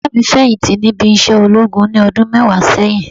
Bàbá mi feyinti níbi isẹ ológun ní ọdún mẹwa sẹ́yìn